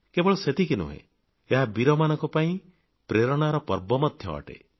କେବଳ ସେତିକି ନୁହେଁ ଏହା ବୀରମାନଙ୍କ ପାଇଁ ପ୍ରେରଣାର ପର୍ବ ମଧ୍ୟ ଅଟେ